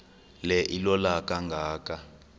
le ilola kangaka